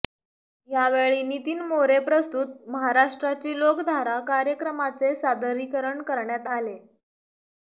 यावेळी नितीन मोरे प्रस्तुत महाराष्ट्राची लोकधारा कार्यक्रमाचे सादरीकरण करण्यात आले